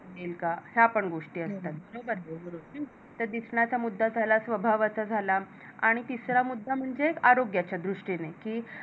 या पन गोष्टी असतात हे दिसन्याचा मुद्दा झाला स्वभावाचा झाला आणि तिसरा मुद्दा म्हणजे आरोग्याचा दृष्टीने